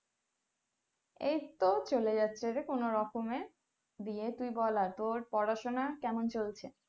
এই তো চলে যাচ্ছে রে কোনো রকমে দিয়ে তুই বল আর তোর পড়াশোনা কেমন চলছে?